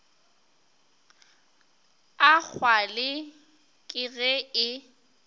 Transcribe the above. a kgwale ke ge e